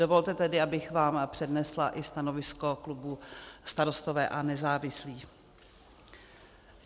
Dovolte tedy, abych vám přednesla i stanovisko klubu Starostové a nezávislí.